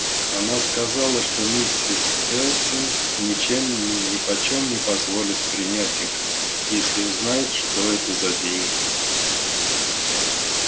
она сказала что миссис элсинг ничем нипочём не позволит принять их если узнает что это за деньги